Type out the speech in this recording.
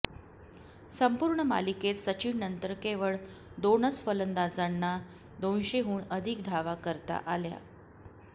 संपूर्ण मालिकेत सचिननंतर केवळ दोनच फलंदाजांना दोनशेहून अधिक धावा करता आल्या